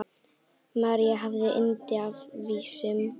María hafði yndi af vísum.